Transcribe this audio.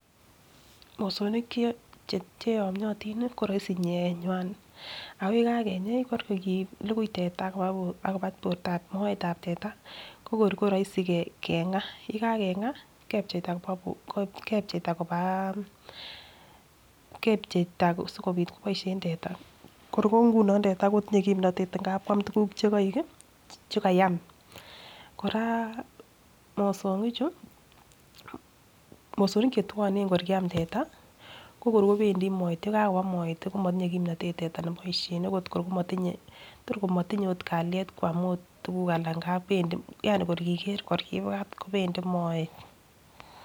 Mosongik che cheyomotin koroisi nyeenywan ak yekakenyey ko kor kilukui teta akoba bortab moetab teta ko kor ko roisi kengaa, yekakenga kepcheita koba bor kepcheita kobaa kepcheita sikopit koboishen teta kor ko nguno teta kotindo kipnotet ngap kakwam tukuk chekoik kii chekayam. Koraa mosongik chuu , mosongik che twone kor kiam teta ko kor kopendii moet, yekakoba moet komotinye kimnotet teta noboishen ne kor komotinye tor komotinye ot kaliet Kam ot tukuk alak ngap pendii yani kor kiker kor kobwat kopendii moet.